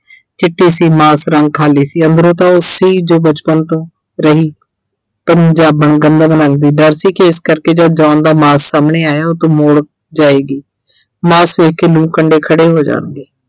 ਚਿੱਟੇ ਸੀ ਮਾਸ ਰੰਗ ਖਾਲੀ ਸੀ ਅੰਦਰੋਂ ਤਾਂ ਉਹ ਸੀ ਜੋ ਬਚਪਨ ਤੋਂ ਰਹੀ ਪੰਜਾਬਣ ਗੰਦਲ ਰੰਗ ਦੀ ਡਰ ਸੀ ਕਿ ਇਸ ਕਰਕੇ ਜਦ John ਦਾ ਮਾਸ ਸਾਹਮਣੇੈ ਆਇਆ ਉਹ ਉੱਥੋਂ ਮੁੜ ਜਾਏਗੀ। ਮਾਸ ਦੇਖ ਕੇ ਲੂੰ ਕੰਡੇ ਖੜੇ ਹੋ ਜਾਣਗੇ।